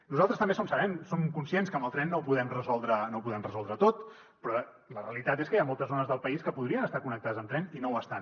nosaltres també som conscients que amb el tren no ho podem resoldre tot però la realitat és que hi ha moltes zones del país que podrien estar connectades amb tren i no ho estan